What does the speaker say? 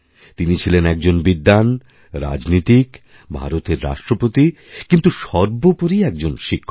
তিনি ছিলেন একজন বিদ্বানরাজনীতিক ভারতের রাষ্ট্রপতি কিন্তু সর্বোপরি একজন শিক্ষক